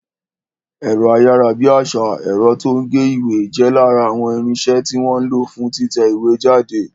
Ẹ̀rọ ayárabíàṣá, ẹ̀rọ tí ó ń gé ìwé, jẹ́ lára àwọn irinsẹ́ tí wọ́n ń lo fún títẹ ìwé jáde